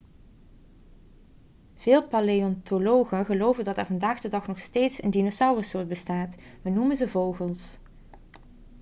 vele paleontologen geloven dat er vandaag de dag nog steeds een dinosaurussoort bestaat we noemen ze vogels